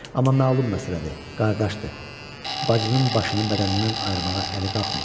Amma məlum məsələdir, qardaşdır, bacının başını bədənindən ayırmağa əli qalxmır.